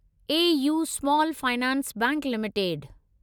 A. U. Small finance bank limited